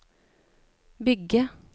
bygge